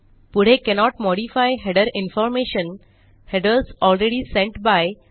पुढे cannot modify header information - headers already sent bye